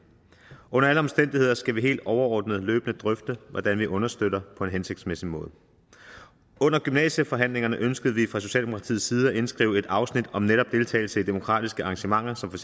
under alle omstændigheder skal vi helt overordnet løbende drøfte hvordan vi understøtter på en hensigtsmæssig måde under gymnasieforhandlingerne ønskede vi fra socialdemokratiets side at indskrive et afsnit om netop deltagelse i demokratiske arrangementer som